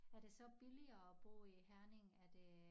Er det så billigere at bo i Herning er det